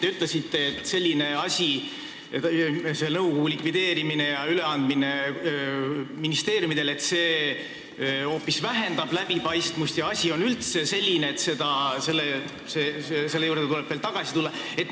Te ütlesite, et selline asi, selle nõukogu likvideerimine ja tema ülesannete üleandmine ministeeriumidele, hoopis vähendab läbipaistvust ja see asi on üldse selline, et selle juurde tuleb veel tagasi tulla.